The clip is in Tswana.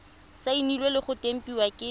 saenilwe le go tempiwa ke